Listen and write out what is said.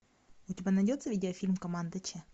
у тебя найдется видео фильм команда ч